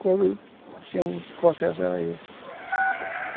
Quando tinha, o processo era esse.